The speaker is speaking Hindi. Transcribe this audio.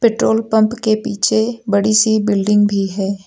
पेट्रोल पंप के पीछे बड़ी सी बिल्डिंग भी है।